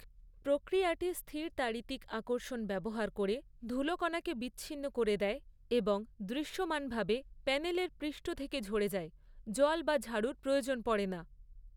প্রক্রিয়াটি স্থির তাড়িতিক আকর্ষণ ব্যবহার করে ধুলোকণাকে বিচ্ছিন্ন করে দেয় এবং দৃশ্যমানভাবে প্যানেলের পৃষ্ঠ থেকে ঝরে যায়, জল বা ঝাড়ুর প্রয়োজন পড়ে না।